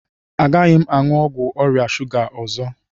Agaghị m aṅụ ọgwụ ọrịa shuga a ọzọ